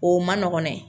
O man nɔgɔn dɛ